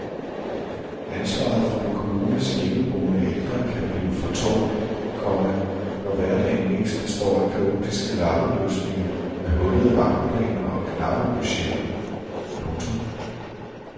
Ansvaret for en kommunes hjemmeboende ældre kan blive for tungt, komma når hverdagen mest består af kaotiske lappeløsninger med hullede vagtplaner og knappe budgetter. punktum